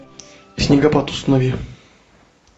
снегопад установи